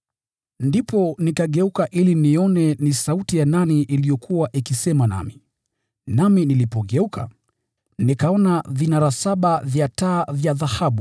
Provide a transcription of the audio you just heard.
Ndipo nikageuka ili nione ni sauti ya nani iliyokuwa ikisema nami. Nami nilipogeuka, nikaona vinara saba vya taa vya dhahabu,